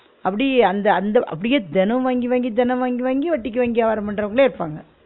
அப்படியே அந்தந்த அப்படியே தெனம் வாங்கி வாங்கி தெனம் வாங்கி வாங்கி வட்டிக்கு வாங்கி வியாபாரம் பண்றவங்களே இருப்பாங்க